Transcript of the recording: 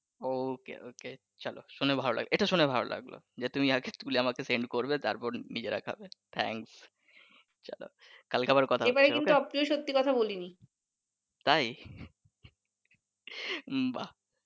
okey okay চলো শুনে ভালো লাগলো এইটা শুনে ভালো লাগলো যে তুমি আগে তুলে আমাকে send করবে তারপর নিজেরা খাবে thanks চলো কালকে আবার কথা হচ্ছে okay তাই বাহ